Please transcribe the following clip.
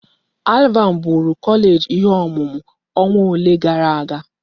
ALVAN bụụrụ kọleeji ihe ọmụmụ ọnwa ole gara aga.